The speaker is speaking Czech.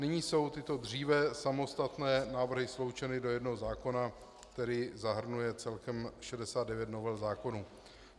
Nyní jsou tyto dříve samostatné návrhy sloučeny do jednoho zákona, který zahrnuje celkem 69 novel zákonů.